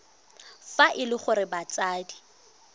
fa e le gore batsadi